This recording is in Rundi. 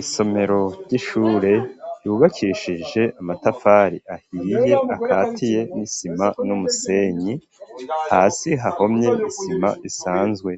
Isomero ry'ishure ryubakikishije amatafari ahiriye akatiye n'isima n'umusenyi hasi hahomye isima isanzwe